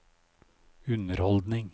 underholdning